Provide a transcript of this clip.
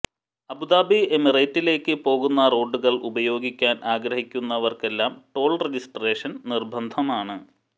Abu Dhabi എമിറേറ്റിലേക്ക് പോകുന്ന റോഡുകൾ ഉപയോഗിക്കാൻ ആഗ്രഹിക്കുന്നവര്ക്കെല്ലാം ടോൾ രജിസ്ട്രേഷൻ നിർബന്ധമാണ്